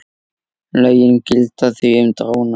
Lögin gilda því um dróna.